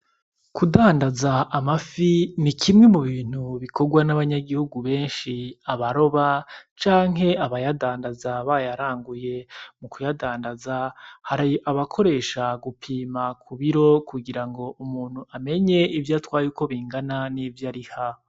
Kudandaza amafi ni kimwe mu bintu bikogwa n' abanyagihugu benshi abaroba canke abayadandaza bayaranguye mu kuyadandaza hari abakoresha gupima ku biro kugira ngo umuntu amenye ivyo atwaye uko bingana n'ivyo ariha.